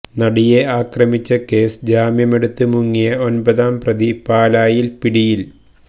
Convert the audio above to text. നടിയെ ആക്രമിച്ച കേസില് ജാമ്യമെടുത്ത് മുങ്ങിയ ഒൻപതാം പ്രതി പാലായിൽ പിടിയിൽ